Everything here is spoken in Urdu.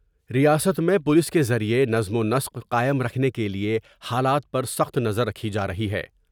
ریاست میں پولیس کے ذریعہ نظم ونسق قائم رکھنے کے لئے حالات پر سخت نظر رکھی جارہی ہے ۔